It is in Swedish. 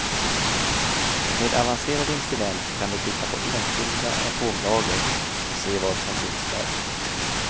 Med avancerade instrument kan de titta på enskilda atomlager och se vad som finns där.